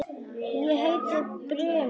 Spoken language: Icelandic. Ég heiti Brimar.